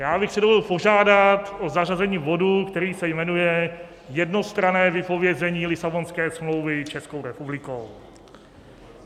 Já bych si dovolil požádat o zařazení bodu, který se jmenuje "Jednostranné vypovězení Lisabonské smlouvy Českou republikou".